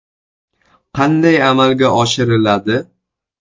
Qanday amalga oshiriladi?